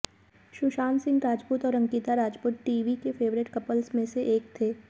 सुशांत सिंह राजपूत और अंकिता राजपूत टीवी के favourite couples में से एक थे